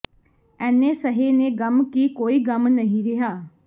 ਐਨੇ ਸਹੇ ਨੇ ਗ਼ਮ ਕਿ ਕੋਈ ਗ਼ਮ ਨਹੀਂ ਰਿਹਾ